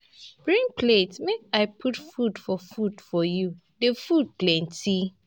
Bring plate make I put food for food for you, the food plenty.